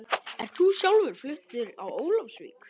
Ert þú sjálfur fluttur á Ólafsvík?